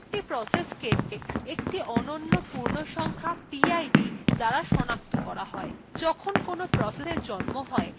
প্রত্যেকটি process একটি অনন্য পূর্ণসংখ্যা pid দ্বারা সনাক্ত করা হয় যখন কোনো processএর জন্ম হয় তখন তার pid kernel দ্বারা নির্ধারিত হয়